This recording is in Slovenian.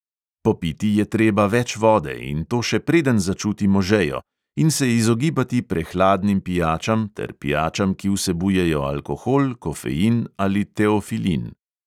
Popiti je treba več vode, in to še preden začutimo žejo, in se izogibati prehladnim pijačam ter pijačam, ki vsebujejo alkohol, kofein ali teofilin.